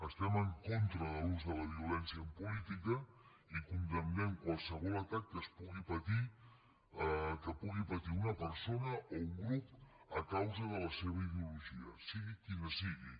estem en contra de l’ús de la violència en política i condemnem qualsevol atac que pugui patir una persona o un grup a causa de la seva ideologia sigui quina sigui